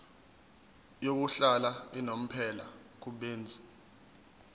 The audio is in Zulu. yokuhlala unomphela kubenzi